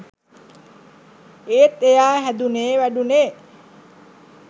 ඒත් එයා හැදුනේ වැඩුනෙ